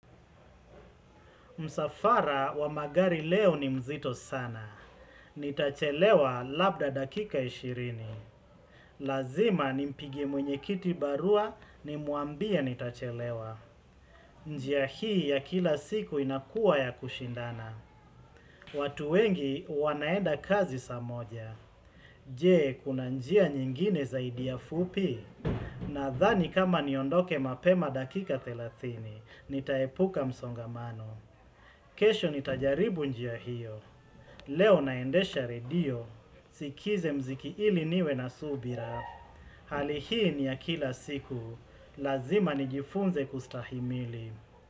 Msafara wa magari leo ni mzito sana. Nitachelewa labda dakika 20. Lazima nimpigie mwenye kiti barua nimuambie nitachelewa. Njiya hii ya kila siku inakuwa ya kushindana. Watu wengi wanaenda kazi saa moja. Jee, kuna njia nyingine zaidi ya fupi. Nadhani kama niondoke mapema dakika 30. Nitaepuka msongamanu. Kesho nitajaribu njia hiyo Leo naendesha redio Sikize mziki ili niwe na subira Hali hii ni ya kila siku Lazima nijifunze kustahimili.